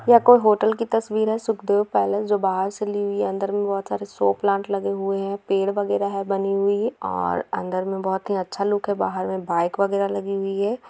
यह कोई होटल की तस्वीर है सुखदेव पैलेस जो बाहर से ली हुई है अंदर में बहुत सारे शो प्लांट लगे हुए हैं पेड़-वगैरा है बनी हुई है और अन्दर में बहुत ही अच्छा लुक है बाहर में बाइक वगैरा लगी हुई है।